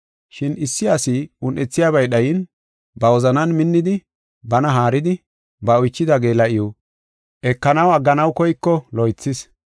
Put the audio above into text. Shin issi asi un7ethiyabay dhayin, ba wozanan minnidi, bana haaridi, ba oychida geela7iw ekenaw agganaw koyko loythis.